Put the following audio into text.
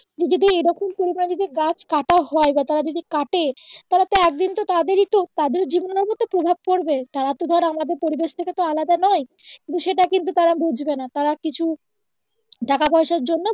তুই যদি এইরকম করে না যদি গাছ কাটা হয় বা তারা না যদি কাটে তারা তো একদিন তো তাদের ই তো তাদের জীবনের মধ্যে তো প্রভাব পরবে তারা তো ধর আমাদের পরিবেশ থেকে তো আলাদা নয় কিন্তু সেটা কিন্তু তারা বুঝবেনা তারা কিছু টাকা পয়সার জন্য